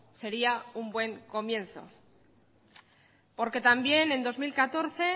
sería un buen comienzo porque también en dos mil catorce